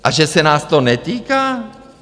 A že se nás to netýká?